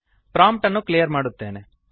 prompt ಅನ್ನು clear ಮಾಡುತ್ತೇನೆ